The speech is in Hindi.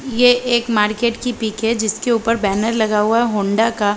ये एक मार्किट की पिक हैं जिसके उपर बैनर लगा हुआ हैं हौंडा का --